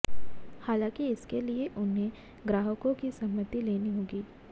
हालांकि इसके लिए उन्हें ग्राहकों की सहमति लेनी होगी